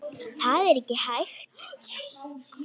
Það er ekki hægt